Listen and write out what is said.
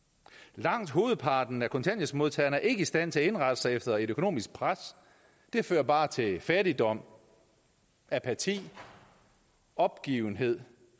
langt hovedparten af kontanthjælpsmodtagerne er ikke i stand til at indrette sig efter et økonomisk pres det fører bare til fattigdom apati opgivenhed